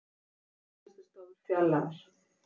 Lausar kennslustofur fjarlægðar